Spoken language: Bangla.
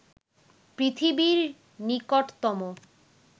পৃথিবীর নিকটতম